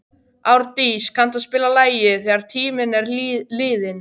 Árdís, kanntu að spila lagið „Þegar tíminn er liðinn“?